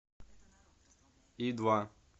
и два